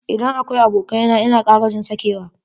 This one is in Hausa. Idan akwai abokai na ina kara jin sakewa.